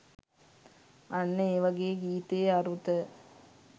අන්න ඒ වගේ ගීතයේ අරුත